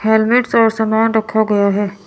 Helmets और सामान रखा गया है।